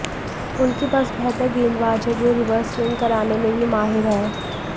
उनके पास बेहतर गेंदबाज़ हैं जो रिवर्स स्विंग कराने में भी माहिर हैं